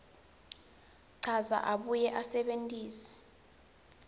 achaze abuye asebentise